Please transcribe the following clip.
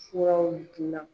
Fura in gilan.